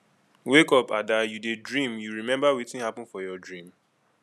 wake up ada you dey dream you remember wetin happen for your dream